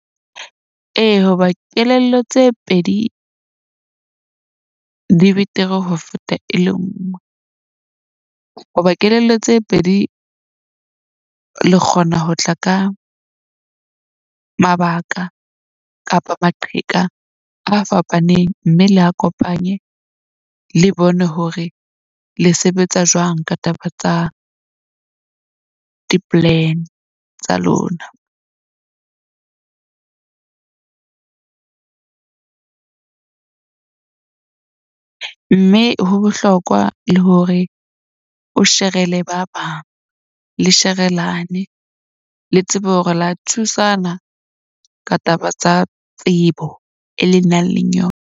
Ee, hoba kelello tse pedi di betere ho feta e le nngwe. Hoba kelello tse pedi le kgona ho tla ka mabaka kapa maqheka a fapaneng mme le a kopanye le bone hore le sebetsa jwang. Ka taba tsa di-plan tsa lona. Mme ho bohlokwa le hore o shere le ba bang le sherelane le tsebe hore la thusana ka taba tsa tsebo e le nang le yona.